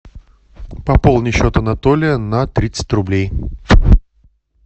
пополни счет анатолия на тридцать рублей